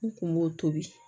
N kun b'o tobi